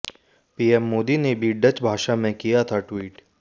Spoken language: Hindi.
पीएम मोदी ने भी डच भाषा में किया था ट्वीट